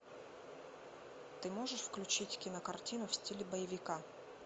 ты можешь включить кинокартину в стиле боевика